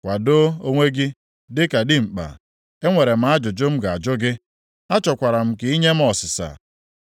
“Kwadoo onwe gị dịka dimkpa; enwere m ajụjụ m ga-ajụ gị, achọkwara m ka i nye m ọsịsa.